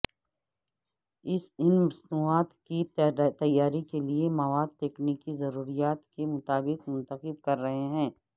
ان مصنوعات کی تیاری کے لئے مواد تکنیکی ضروریات کے مطابق منتخب کر رہے ہیں